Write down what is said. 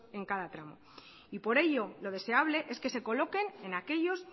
en cada tramo y por ello lo deseable es que se coloquen en aquellos